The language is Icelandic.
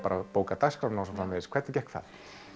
að bóka dagskrána og svoleiðis hvernig gekk það